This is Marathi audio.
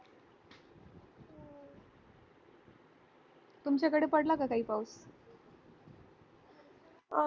तुमच्याकडे पडला का काही पाऊस